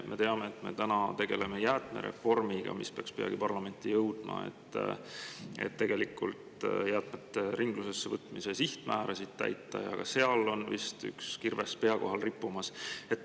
Me teame, et me tegeleme nüüd jäätmereformiga, mis peaks peagi parlamenti jõudma, selleks et tegelikult jäätmete ringlusesse võtmise sihtmäärasid täita, ja ka seal on vist üks kirves pea kohal rippumas.